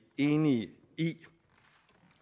enige i